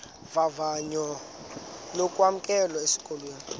vavanyo lokwamkelwa esikolweni